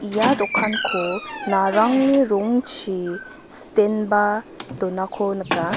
ia dokanko narangni rongchi sitenba donako nika.